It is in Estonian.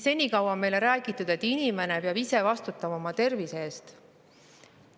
Senikaua on meile räägitud, et inimene peab ise vastutama oma tervise eest.